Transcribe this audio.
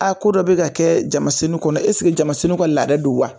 Aa ko dɔ be ka kɛ jamasennu kɔnɔ esike jamasennu ka laada de don wa